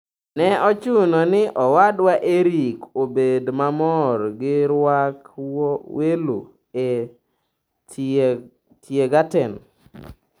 Ne ochuno ni owadwa Erick obed mamor gi rwak welo e Tiergarten.